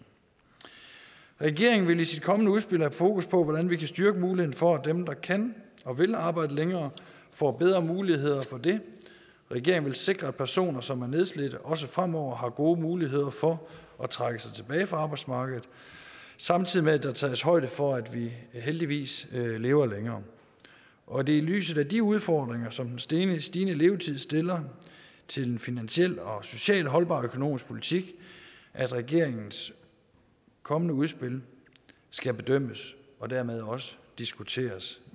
regeringen vil i sit kommende udspil have fokus på hvordan vi kan styrke muligheden for at dem der kan og vil arbejde længere får bedre muligheder for det regeringen vil sikre at personer som er nedslidte også fremover har gode muligheder for at trække sig tilbage fra arbejdsmarkedet samtidig med at der tages højde for at vi heldigvis lever længere og det er i lyset af de udfordringer som den stigende stigende levetid stiller til en finansielt og socialt holdbar økonomisk politik at regeringens kommende udspil skal bedømmes og dermed også diskuteres